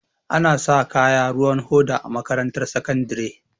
Anasa kaya ruwan hoda a makarantar sakandare